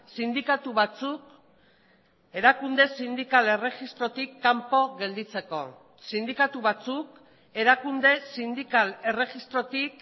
sindikatu batzuk erakunde sindikal erregistrotik kanpo gelditzeko sindikatu batzuk erakunde sindikal erregistrotik